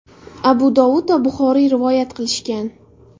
Abu Dovud va Buxoriy rivoyat qilishgan.